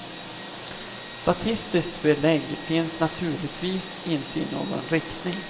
Statistiskt belägg finns naturligtvis inte i någon riktning.